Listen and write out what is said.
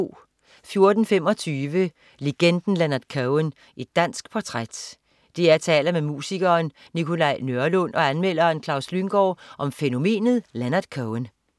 14.25 Legenden Leonard Cohen, et dansk portræt. DR taler med musikeren Nikolaj Nørlund og anmelderen Klaus Lynggaard om fænomenet Leonard Cohen